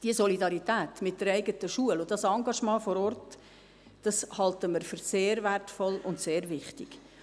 Diese Solidarität mit der eigenen Schule und dieses Engagement vor Ort halten wir für sehr wertvoll und sehr wichtig.